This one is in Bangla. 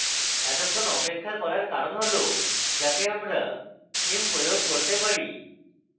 এতক্ষন অপেক্ষা করার কারণ হল যাতে আমরা theme প্রয়োগ করতে পারি